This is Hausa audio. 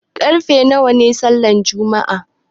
Karfe nawa ne sallan juma'a?